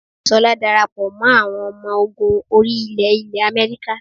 Ṣọlá darapọ̀ mọ́ àwọn ọmọ ogun orí ilẹ̀ ilẹ̀ America